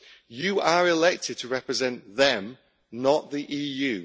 You are elected to represent them, not the EU.